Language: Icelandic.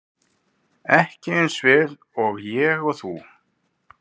Ekki eins vel og ég og þú.